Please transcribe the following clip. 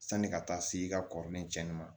Sani ka taa se i ka kɔrɔlen cɛnni ma